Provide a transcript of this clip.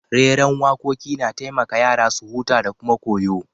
Reran wakoki na taimaka yara su huta da kuma koyo.